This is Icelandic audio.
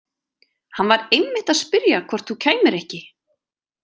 Hann var einmitt að spyrja hvort þú kæmir ekki.